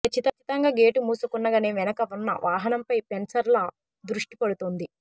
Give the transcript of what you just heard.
కచ్చితంగా గేటు మూసుకున్నాకనే వెనుక ఉన్న వాహనంపై సెన్సర్ల దృష్టి పడుతుంది